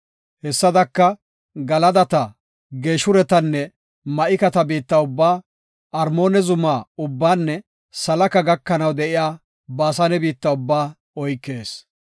Hessadaka, Galadata, Geeshuretanne Ma7ikata biitta ubbaa, Armoona zuma ubbaanne Salaka gakanaw de7iya Baasane biitta ubbaa oykees.